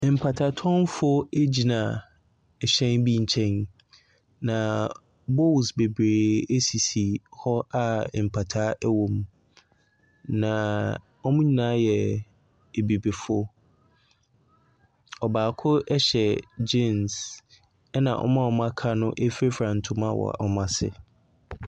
Mataatɔnfoɔ gyina ɛhyɛn bi nkyɛn. Na bowls bebree sisi hɔ a mpataa wɔ mu. Na wɔn nyinaa yɛ Abibifoɔ. Ɔbaako hyɛ gyean, ɛna wɔn a wɔaka no firafira ntom,a wɔ wɔn asene.